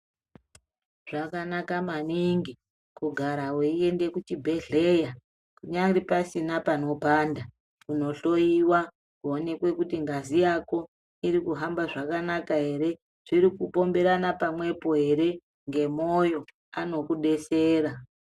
Zvakanaka maningi kugara veiende kuchibhedhera kunyari pasina panopanda kunohloiwa, kuoneke kuti ngazi yako irikuhamba zvakanaka ere, zviri kupomberana pamwepo ere, ngemoyo ano kubesera.